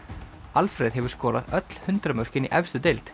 Alfreð hefur skorað öll hundrað mörkin í efstu deild